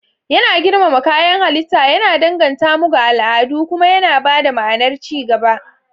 Yana girmama kayan halitta, yana danganta mu ga al'adu, kuma yana ba da ma'anar ci gaba.